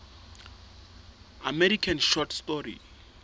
american short story